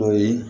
O ye